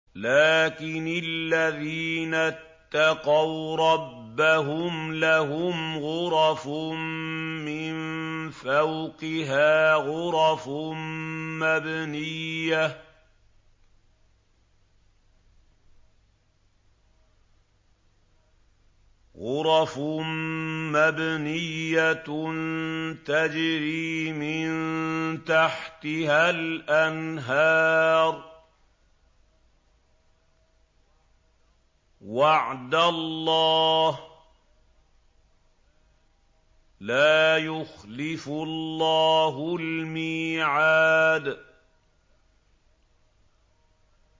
لَٰكِنِ الَّذِينَ اتَّقَوْا رَبَّهُمْ لَهُمْ غُرَفٌ مِّن فَوْقِهَا غُرَفٌ مَّبْنِيَّةٌ تَجْرِي مِن تَحْتِهَا الْأَنْهَارُ ۖ وَعْدَ اللَّهِ ۖ لَا يُخْلِفُ اللَّهُ الْمِيعَادَ